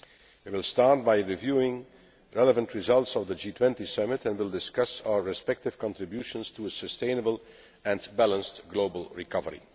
We will start by reviewing relevant results of the G20 Summit, and will discuss our respective contributions to a sustainable and balanced global recovery.